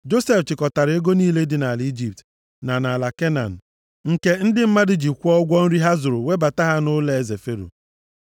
Josef chịkọtara ego niile dị nʼala Ijipt, na nʼala Kenan, nke ndị mmadụ ji kwụọ ụgwọ nri ha zụrụ webata ha nʼụlọeze Fero.